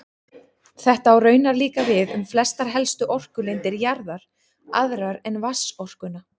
Þetta á raunar líka við um flestar helstu orkulindir jarðar, aðrar en vatnsorkuna.